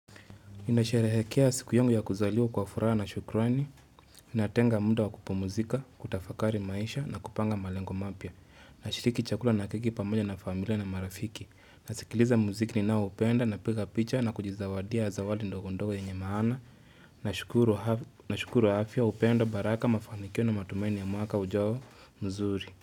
Nasherehekea siku yangu ya kuzaliwa kwa furaha na shukrani. Natenga muda wa kupumuzika, kutafakari maisha na kupanga malengo mapya. Nashiriki chakula na keki pamoja na familia na marafiki. Nasikiliza muziki ni naoupenda na piga picha na kujizawadia zawadi ndogo ndogo yenye maana. Nashukuru afya upendo baraka mafanikio na matumaini ya mwaka ujao mzuri.